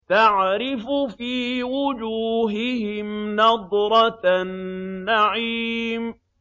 تَعْرِفُ فِي وُجُوهِهِمْ نَضْرَةَ النَّعِيمِ